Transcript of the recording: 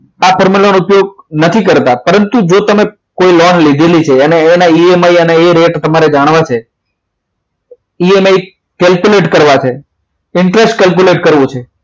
આ formula નો ઉપયોગ નથી કરતા પરંતુ જો તમે કોઈ લોન લીધેલી છે અને એના EMI અને એ રેટ તમારે જાણવા છે EMI calculate કરવા છે interest calculate કરવું છે